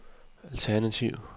alternativ